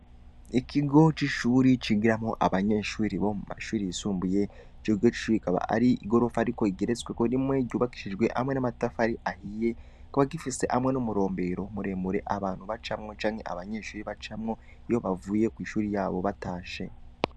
Ikigo c'ishuri cigiramwo abanyeshuri bo mu mashuri yisumbuye jege cu rikaba ari igorofa ari ko igeretswe ko rimwe ryubakishijwe hamwe n'amatafa ari ahiye kuba gifise hamwe n'umurombero muremure abantu bacamwo canke abanyeshuri bacamwo iyo bavuye kw'ishuri yabo batashe.